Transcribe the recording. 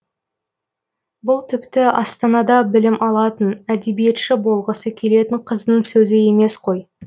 бұл тіпті астанада білім алатын әдебиетші болғысы келетін қыздың сөзі емес қой